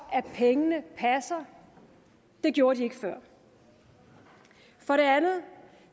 at pengene passer det gjorde de ikke før for det andet